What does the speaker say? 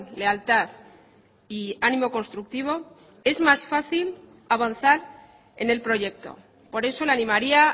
lealtad y ánimo constructivo es más fácil avanzar en el proyecto por eso le animaría